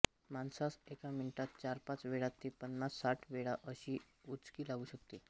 माणसास एका मिनीटात चारपाच वेळा ते पन्नास साठ वेळा अशी उचकी लागु शकते